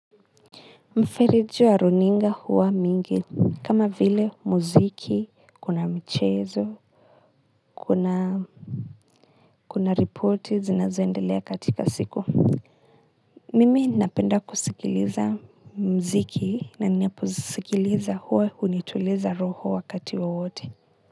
Mferiji wa runinga huwa mingi kama vile muziki, kuna mchezo, kuna ripoti zinazoendelea katika siku. Mimi napenda kusikiliza muziki na ninapozisikiliza huwa hunituliza roho wakati wowote.